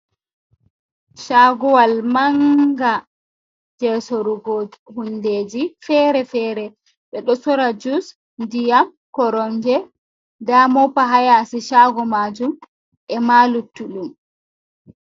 Shaguwal manga je sorugo hundeji fere-fere, ɓe ɗo sora jus, diyam, koronge, nda mopa hayasi chago majum e ma luttuɗum.